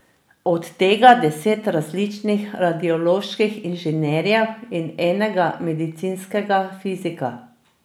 Od tega deset različnih radioloških inženirjev in enega medicinskega fizika.